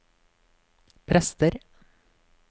prester